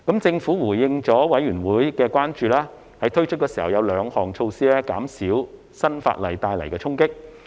政府回應了法案委員會的關注，在推出時會有兩項措施減少新法例帶來的衝擊。